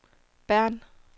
Bern